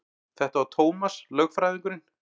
Þetta var Tómas lögfræðingur.